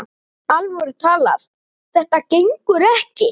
alvöru talað: þetta gengur ekki!